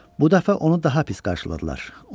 Bu dəfə onu daha pis qarşıladılar.